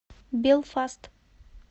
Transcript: белфаст